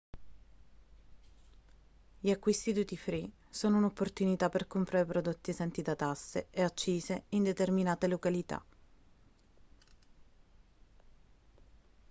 gli acquisti duty free sono un'opportunità per comprare prodotti esenti da tasse e accise in determinate località